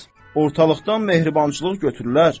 Ortalıqdan mehribançılıq götürülər.